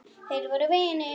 Þeir voru vinir.